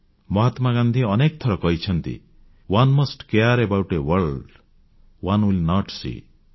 ମହାତ୍ମାଗାନ୍ଧୀ ଅନେକ ଥର କହିଛନ୍ତି one must care about a world one will note ସୀ